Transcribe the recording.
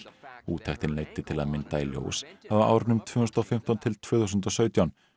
úttektin leiddi til að mynda í ljós að á árunum tvö þúsund og fimmtán til tvö þúsund og sautján